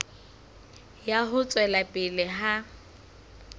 ya ho tswela pele ha